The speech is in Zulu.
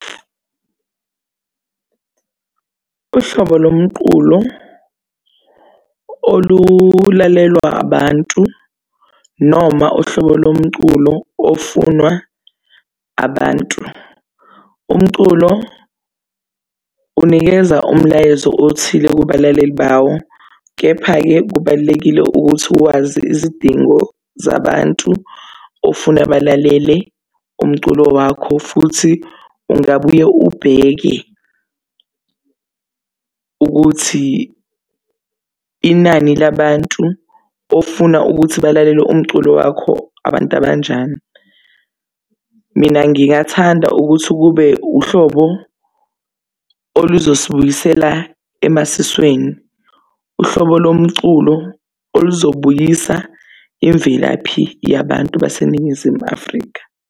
Uhlobo lo mqulo olulalelwa abantu noma uhlobo lo mculo ofunwa abantu, umculo unikeza umlayezo othile kubalaleli bawo. Kepha-ke kubalulekile ukuthi uwazi izidingo zabantu ofuna balalele umculo wakho. Futhi ungabuye ubheke ukuthi inani labantu ofuna ukuthi balalele umculo wakho abantu abanjani. Mina ngingathanda ukuthi kube uhlobo oluzosibuyisela emasisweni, uhlobo lo mculo oluzobuyisa imvelaphi yabantu baseNingizimu Afrika.